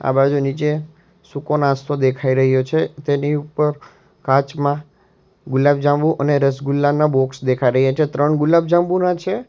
આ બાજુ નીચે સુકો નાસ્તો દેખાઈ રહ્યો છે તેની ઉપર કાચમાં ગુલાબજાંબુ અને રસગુલ્લા ના બોક્સ દેખા રહ્યા છે ત્રણ ગુલાબજાંબુના છે.